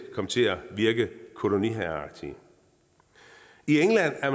komme til at virke koloniherreagtige i england er